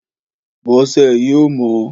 Bọ́sẹ̀ yóò mọ́